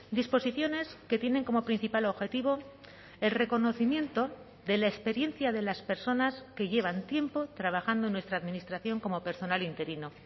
disposiciones que tienen como principal objetivo el reconocimiento de la experiencia de las personas que llevan tiempo trabajando en nuestra administración como personal interino